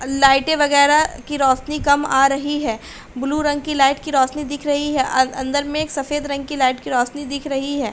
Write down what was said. अ लाइटें वगैरा की रौशनी कम आ रही है। ब्लू रंग की लाइट की रौशनी दिख रही है। अ अंदर में एक सफेद रंग की लाइट की रौशनी दिख रही है।